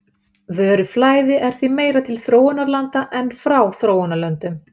Vöruflæði er því meira til þróunarlanda en frá þróunarlöndum.